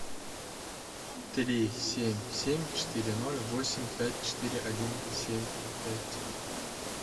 три семь семь четыре ноль восемь пять четыре один семь пять